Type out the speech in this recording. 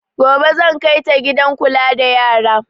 Gobe zan kai ta gidan kula da yara